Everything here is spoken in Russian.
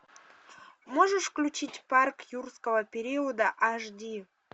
можешь включить парк юрского периода аш ди